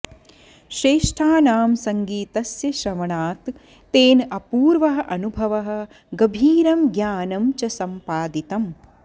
श्रेष्ठानां सङ्गीतस्य श्रवणात् तेन अपूर्वः अनुभवः गभीरं ज्ञानं च सम्पादितम्